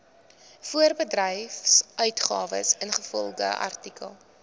voorbedryfsuitgawes ingevolge artikel